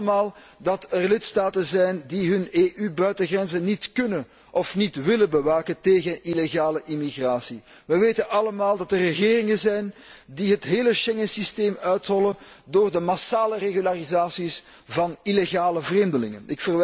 We weten allemaal dat er lidstaten zijn die hun EU buitengrenzen niet kunnen of niet willen bewaken tegen illegale immigratie. We weten allemaal dat er regeringen zijn die het hele Schengensysteem uithollen door de massale regularisaties van illegale vreemdelingen.